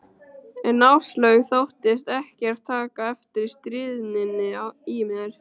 En Áslaug þóttist ekkert taka eftir stríðninni í mér.